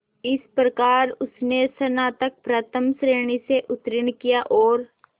इस प्रकार उसने स्नातक प्रथम श्रेणी से उत्तीर्ण किया और